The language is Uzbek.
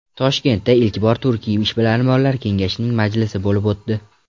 Toshkentda ilk bor Turkiy ishbilarmonlar Kengashining Majlisi bo‘lib o‘tdi.